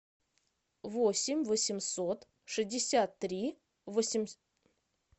восемь восемьсот шестьдесят три